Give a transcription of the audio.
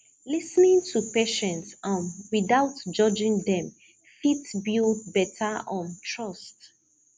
lis ten ing to patient um without judging dem fit build better um trust